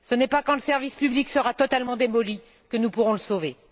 Ce n'est pas quand le service public sera totalement démoli que nous pourrons le sauver.